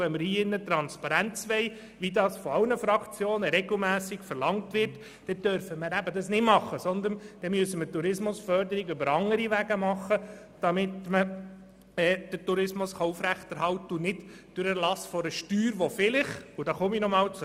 Wenn wir aber Transparenz wollen, dann dürfen wir das nicht machen, sondern müssen den Tourismus über andere Wege unterstützen, und nicht durch den Erlass einer Steuer, die vielleicht trotzdem geschuldet ist.